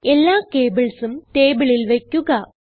എല്ലാ cablesഉം ടേബിളിൽ വയ്ക്കുക